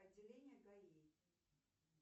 отделение гаи